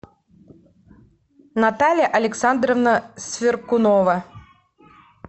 наталья александровна сверкунова